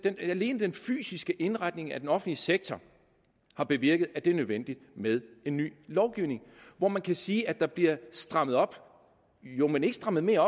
alene den fysiske indretning af den offentlige sektor har bevirket at det er nødvendigt med en ny lovgivning hvor man kan sige at der bliver strammet op jo men ikke strammet mere